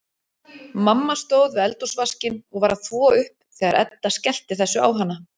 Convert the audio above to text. Mamma stóð við eldhúsvaskinn og var að þvo upp þegar Edda skellti þessu á hana.